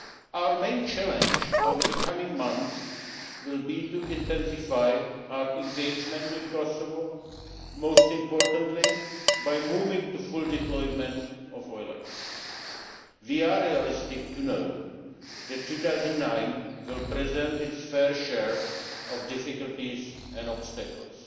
Our main challenge over the coming months will be to intensify our engagement in Kosovo, most importantly by moving to full deployment of EULEX. We are realistic enough to know that 2009 will present its fair share of difficulties and obstacles.